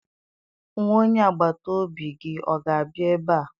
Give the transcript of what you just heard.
Nwa onye agbata obi gị ọ ga-abịa ebe a?